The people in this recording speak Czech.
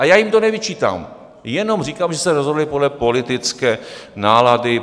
A já jim to nevyčítám, jenom říkám, že se rozhodli podle politické nálady.